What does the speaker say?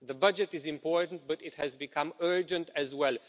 The budget is important, but it has become urgent as well.